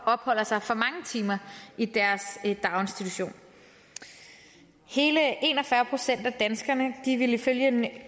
opholder sig for mange timer i deres daginstitution hele en og fyrre procent af danskerne ville ifølge